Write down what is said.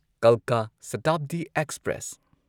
ꯀꯜꯀꯥ ꯁꯥꯇꯥꯕꯗꯤ ꯑꯦꯛꯁꯄ꯭ꯔꯦꯁ